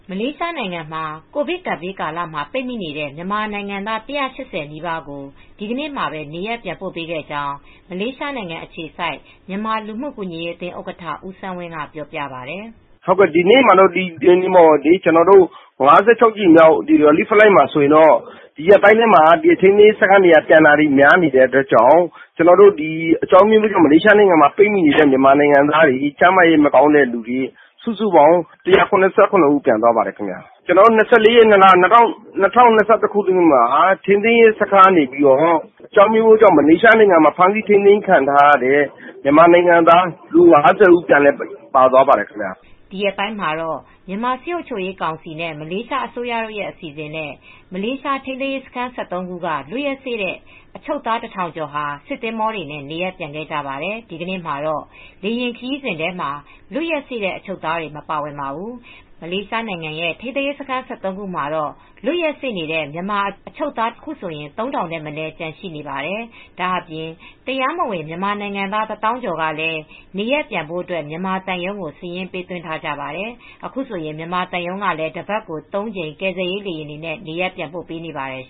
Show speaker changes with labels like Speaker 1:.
Speaker 1: မလေးရှားနိုင်ငံမှာ ကိုဗစ်ကပ်ဘေးကာလ မှာပိတ်မိနေတဲ့မြန်မာနိုင်ငံသား ၁၈၀ နီးပါးကို ဒီနေ့မှာပဲ နေရပ်ပြန်ပို့ခဲ့ကြောင်း မလေးရှားအခြေစိုက် မြန်မာလူမှုကူညီရေးအသင်းဥက္ကဋ္ဌ ဦးစန်းဝင်းကပြောပြပါတယ်
Speaker 2: ။ "ဒီနေ့မှာတေ့ာ ၅၆ ကြိမ်မြောက် ကယ်ဆယ်ရေး လေယာဉ်မှာတော့ ထိန်းသိမ်းရေးစခန်းကလူတွေ ဒီရက်အတွင်းပြန်တာတွေ များနေတဲ့အတွက်ကြောင့် အကြောင်းအမျိုးမျိုးကြောင့် မလေးရှားမှာ ပိတ်မိနေတဲ့သူတွေ၊ ကျန်းမာရေးမကောင်းသူတွေ ၁၇၇ ဦး ပြန်သွားပါတယ်။ မနေ့က ၂၄ ရက်နေ့ကတော့ ထိန်းသိမ်းရေးစခန်းတွေကနေပြီးတော့ အကြောင်းအမျိုးမျိုးကြောင့် ဖမ်းဆီးထိန်းသိမ်းခံထားရတဲ့ မြန်မာနိုင်ငံသား လူ ၅၀ ဦး ပါသွားပါတယ်။"
Speaker 1: ဒီရက်ပိုင်းမှာတော့ မြန်မာစစ်အုပ်ချုပ်ရေးကောင်စီနဲ့ မလေးရှားအစိုးရတို့ အစီစဉ်နဲ့ မလေးရှားထိန်းသိမ်းရေးစခန်း ၁၃ ခုက လွတ်ရက်စေ့တဲ့အချုပ်သား ၁,၀၀၀ ကျော်ဟာ စစ်သင်္ဘောတွေနဲ့ နေရပ်ပြန်ခဲ့ကြပါတယ်။ ဒီနေ့မှာတော့ လေယာဉ်ခရီးစဉ်ထဲမှာတော့ လွတ်ရက်စေ့အချုပ်သားတွေ မပါဝင်ပါဘူး။ မလေးရှားနိုင်ငံက ထိန်းသိမ်းရေးစခန်း ၁၃ ခုမှာ လွတ်ရက်စေ့နေတဲ့ မြန်မာအချုပ်သား အခုဆိုရင် ၃,၀၀၀ ထက်မနည်း ကျန်ရှိနေပါတယ်။ ဒါအပြင် တရားမဝင်မြန်မာနိုင်ငံသား ၁၀,၀၀၀ ကျော်ကလည်း နေရပ်ပြန်ဖို့အတွက် မြန်မာသံရုံးကို စာရင်းပေးသွင်းထားပါတယ်။ အခုဆိုရင် မြန်မာသံရုံးကလည်း တပတ်ကို ၃ ကြိမ် ကယ်ဆယ်ရေးလေယာဉ်တွေနဲ့ နေရပ်ပြန်ပို့ပေးနေပါတယ်